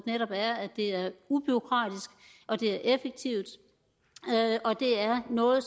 netop er at det er ubureaukratisk at det er effektivt og at det er noget